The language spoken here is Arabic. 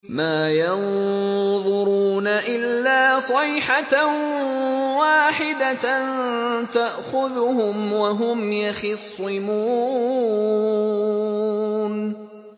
مَا يَنظُرُونَ إِلَّا صَيْحَةً وَاحِدَةً تَأْخُذُهُمْ وَهُمْ يَخِصِّمُونَ